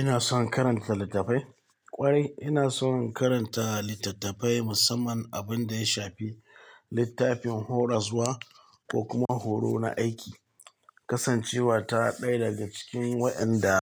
Ina son karanta littafai kwarai. Ina son karanta littattafai musamman abin da ya shafi littafin horaswa ko kuma horo na aiki. Kasancewa ta ɗaya daga cikin waɗanda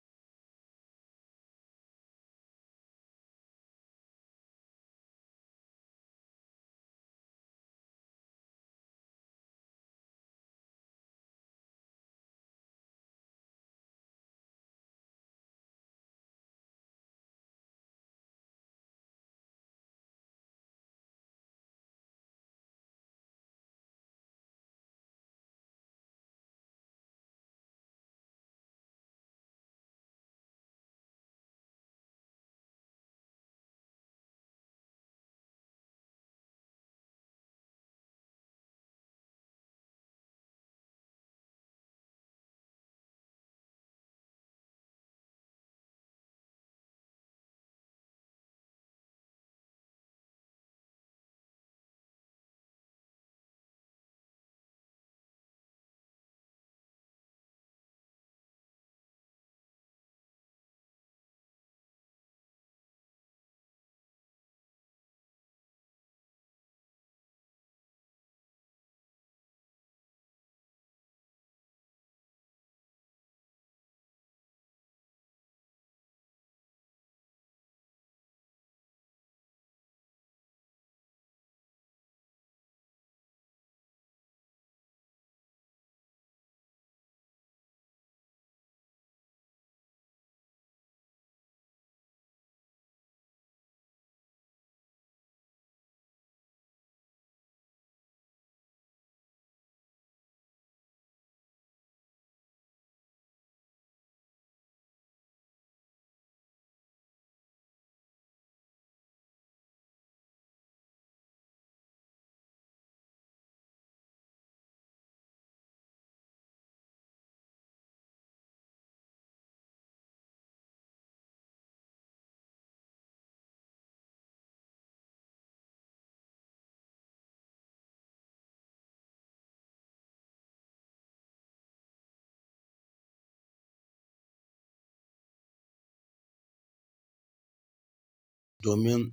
domin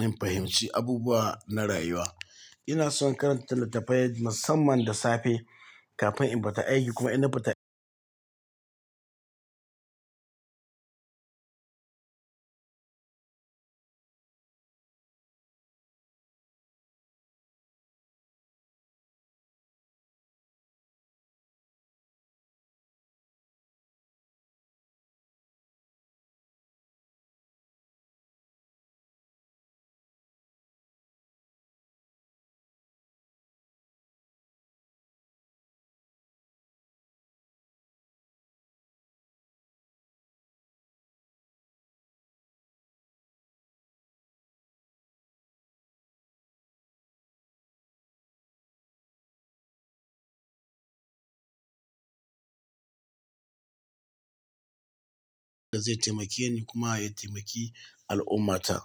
in fahimci abubuwa na rayuwa. Ina son karanta littafai musamman da safe kafin in fita aiki kuma ina fita da zai taimake ni kuma ya taimaki al'ummah ta.